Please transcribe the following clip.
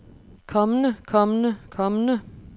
kommende kommende kommende